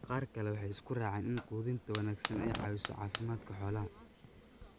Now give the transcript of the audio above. Qaar kale waxay isku raaceen in quudinta wanaagsani ay caawiso caafimaadka xoolaha.